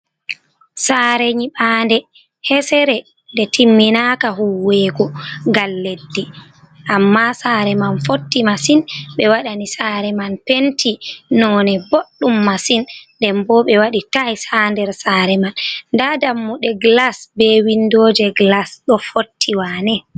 Sare nyiɓande hesere nde timminaka huwego ngal leddi amma sare man fotti masin. Ɓe waɗani sare man penti none boɗɗum masin nden bo ɓe waɗi tayis ha nder sare man, nda dammuɗe glas be windoje glas ɗo fotti wane.